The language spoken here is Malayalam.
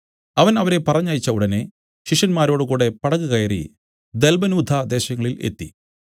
അവൻ അവരെ പറഞ്ഞയച്ച ഉടനെ ശിഷ്യന്മാരോട് കൂടെ പടക് കയറി ദല്മനൂഥ ദേശങ്ങളിൽ എത്തി